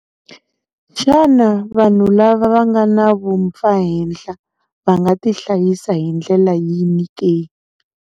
Xana vanhu lava va nga na vumpfahenhla va nga tihlayisa hi ndlela yini ke?